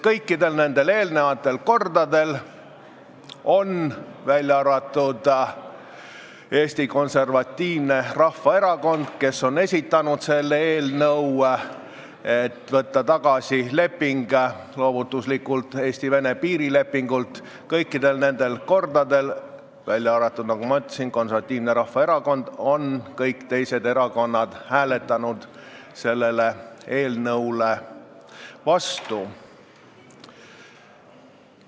Kõikidel eelnevatel kordadel, kui Eesti Konservatiivne Rahvaerakond on esitanud eelnõu, et võtta tagasi loovutuslik Eesti-Vene piirileping, on kõik teised erakonnad hääletanud selle eelnõu vastu.